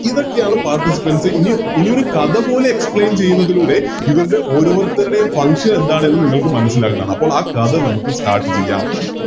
ഇതൊക്കെയാണ് ഇനി Participants ഇനിയൊരു കഥ പോലെ Explain ചെയ്യുന്നതിലൂടെ ഇതിൻറെ ഓരോരുത്തരുടെയും Function എന്താണ് എന്ന് നിങ്ങൾക്ക് മനസ്സിലാവുകയാണ് അപ്പൊ ആ കഥ നമുക്ക് Start ചെയ്യാം